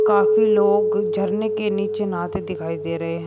काफी लोग झरने के नीचे नहाते दिखाई दे रहे हैं।